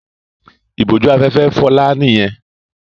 Ìbójú-afẹ́fẹ́ Fọlá nìyẹn.